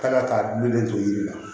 Kan ka taa du de to yiri la